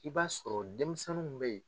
I b'a sɔrɔ denmisɛnninw bɛ yen.